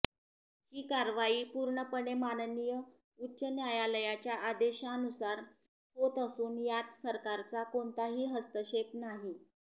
ही कारवाई पूर्णपणे माननीय उच्च न्यायालयाच्या आदेशानुसार होत असून यात सरकारचा कोणताही हस्तक्षेप नाही